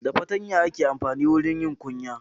Da fatanya aka amfanin wajen yin kunya.